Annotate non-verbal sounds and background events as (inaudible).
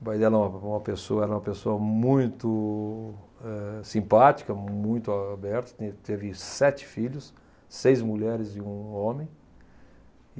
O pai dela (unintelligible) uma boa pessoa, era uma pessoa muito eh simpática, muito aberta, tinha teve sete filhos, seis mulheres e um homem.